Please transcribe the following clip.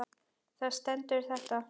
Þar stendur þetta